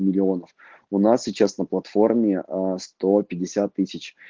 миллионов у нас сейчас на платформе сто пятьдесят тысяч